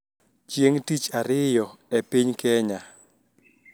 Chieng` tich ariyo e piny Kenya,